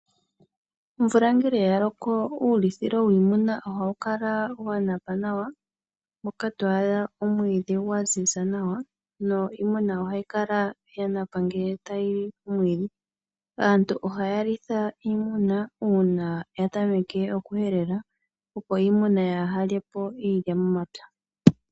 Omvula ngele ya loko uulithilo wiimuna ohawu kala wa ziza nawa, moka to adha omwiidhi gwa ziza nawa niimuna ohayi kala ya gundjila ngele tayi napa omwiidhi. Aantu ohaya litha iimuna uuna ya tameke okuhelela, opo iimuna yaa lye po iilya momapya.